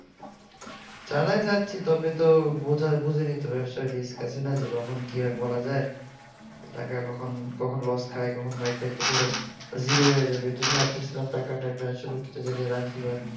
চালাই যাচ্ছি তো তবে তো বুঝা বুঝে নিতে হবে তো ব্যাপসার risk আছে যে কখন কি ভাবে বলা যাই টাকা কখন loss খাই কখন zero হয়ে যাবে এই জন্য ভাবতে ছিলাম টাকাটা কিছু জায়গায় রাখি বা